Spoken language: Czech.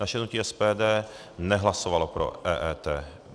Naše hnutí SPD nehlasovalo pro EET.